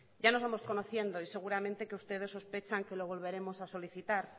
ya nos vamos conociendo y seguramente que ustedes sospechan que lo volveremos a solicitar